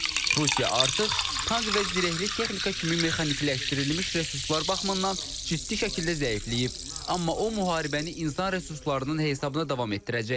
Rusiya artıq tank və zirehli texnika kimi mexanikiləşdirilmiş resurslar baxımından ciddi şəkildə zəifləyib, amma o müharibəni insan resurslarının hesabına davam etdirəcək.